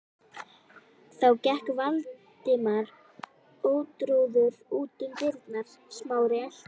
Þá gekk Valdimar ótrauður út um dyrnar, Smári elti.